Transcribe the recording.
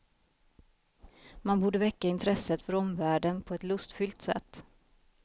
Man borde väcka intresset för omvärlden på ett lustfyllt sätt.